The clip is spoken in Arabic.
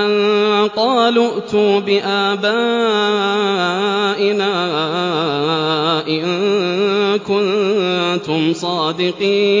أَن قَالُوا ائْتُوا بِآبَائِنَا إِن كُنتُمْ صَادِقِينَ